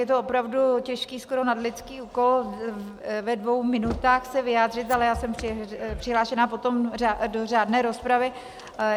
Je to opravdu těžký, skoro nadlidský úkol, ve dvou minutách se vyjádřit, ale já jsem přihlášená potom do řádné rozpravy.